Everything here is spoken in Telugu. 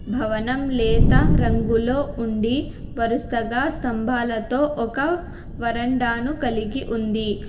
భవనం లేత రంగులో ఉండి వరుసగా స్తంభాలతో ఒక వరండాను కలిగి ఉంది.